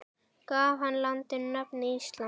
Gaf hann landinu nafnið Ísland.